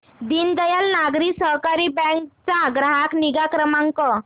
दीनदयाल नागरी सहकारी बँक चा ग्राहक निगा क्रमांक